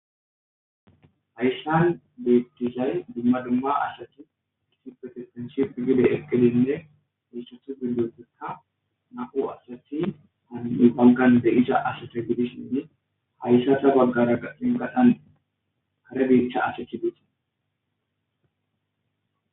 hayssan beettizay dumma dumma asathi kisi protestenship gibe eqqelinne iissathu bindioteka naqu asathi hani7i balgan de7isa asata gidisinne hayssatha baggara aqinqaxan kare biitha asethi bite